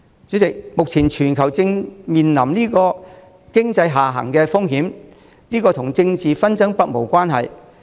主席，目前全球正面臨經濟下行的風險，這跟政治紛爭不無關係。